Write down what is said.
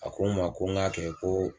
A ko ma ko ŋ'a kɛ koo